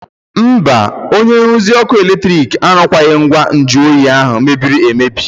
Mba, onye nruzi ọkụ eletrik arụkwaghị ngwa nju oyi ahụ mebiri emebi.